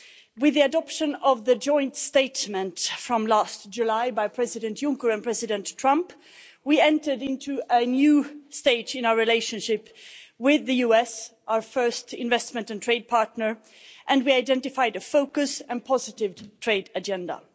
With the adoption of the joint statement from last July by President Juncker and President Trump, we entered into a new stage in our relationship with the US, our first investment and trade partner, and we identified a focused and positive trade agenda.